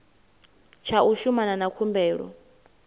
tsha u shumana na khumbelo